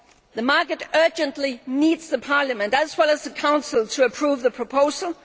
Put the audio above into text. The market urgently needs Parliament as well as the Council to approve the proposal.